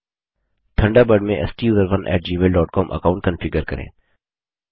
Thunderbird में STUSERONE gmailकॉम account configure करें